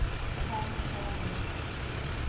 current prime minister